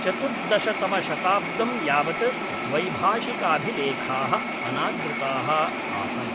चतुर्दशतमशताब्दं यावत् द्वैभाषिकाभिलेखाः अनादृताः आसन्।